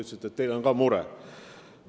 Te ütlesite, et teil on ka mure.